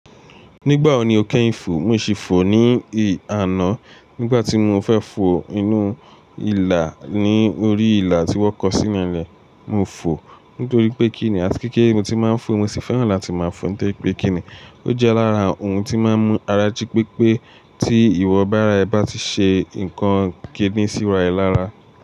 Nígbà wo ni o kẹ́yìn fò? Mo sì fò ní àná nígbà tí mo fẹ́ fò inú ìlà ní orí ìlà tí wọ́n kọ sínú ilẹ̀. Mo fò nítorí pé kíni àti kíkí ni mo ti máa ń fò, mo sì fẹ́ràn láti máa fò nítorí pé kíni ó jẹ́ lara ohun tí máa ń mú ara jí pépé tí ìwọ̀ bára ẹ bá ti ṣe nǹkan kẹ́dín síra ẹ lára.